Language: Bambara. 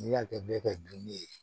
N'i y'a kɛ bɛɛ ka dunni ye